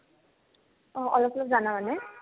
অ, অলপ অলপ জানা মানে